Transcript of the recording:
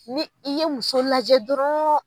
Ni i ye muso lajɛ dɔrɔn